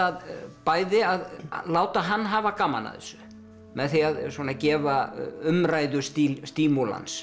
bæði að láta hann hafa gaman af þessu með því að gefa umræðu